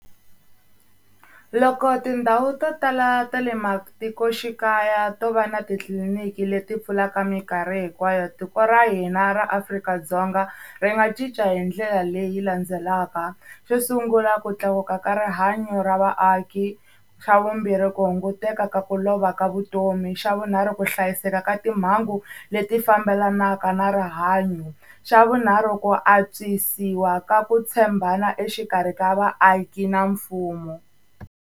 Loko tindhawu to tala ta le matikoxikaya to va na titliliniki leti pfulaka minkarhi hinkwayo, tiko ra hina ra Afrika-Dzonga ri nga cinca hi ndlela leyi landzelaka. Xo sungula ku tlakuka ka rihanyo ra vaaki. Xa vumbirhi ku hunguteka ka ku lova ka vutomi. Xa vunharhu ku hlayiseka ka timhangu leti fambelanaka na rihanyo. Xa vunharhu ku antswisiwa ka ku tshembana exikarhi ka vaaki na mfumo.